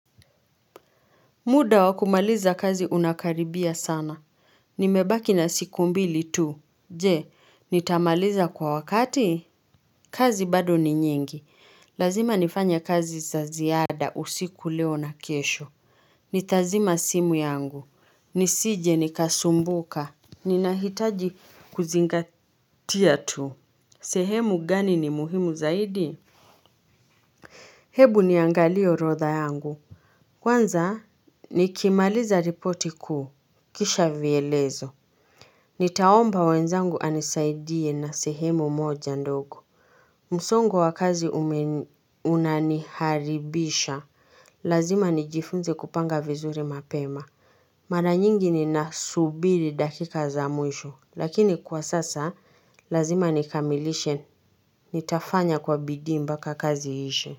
Muda wakumaliza kazi unakaribia sana. Nimebaki na siku mbili tu. Je, nitamaliza kwa wakati. Kazi bado ni nyingi. Lazima nifanye kazi za ziada usiku leo na kesho. Nitazima simu yangu. Nisije nikasumbuka. Ninahitaji kuzingatia tu. Sehemu gani ni muhimu zaidi? Hebu niangalie rodha yangu. Kwanza, nikimaliza ripoti kuu Kisha vyelezo. Nitaomba wenzangu anisaidie na sehemu moja ndogo. Musongo wa kazi unaniharibisha. Lazima nijifunze kupanga vizuri mapema. Mara nyingi ninasubiri dakika za mwisho. Lakini kwa sasa, lazima nikamilishe nitafanya kwa bidii mpaka kazi iishe.